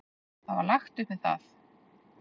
Það var lagt upp með það.